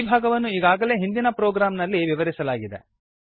ಈ ಭಾಗವನ್ನು ಈಗಾಗಲೇ ಹಿಂದಿನ ಪ್ರೊಗ್ರಾಮ್ ನಲ್ಲಿ ವಿವರಿಸಲಾಗಿದೆ